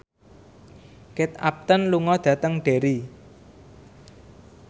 Kate Upton lunga dhateng Derry